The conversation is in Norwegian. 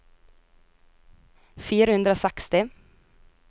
fire hundre og seksti